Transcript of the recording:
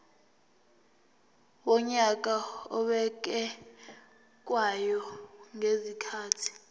wonyaka obekwayo ngezikhathi